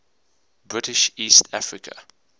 british east africa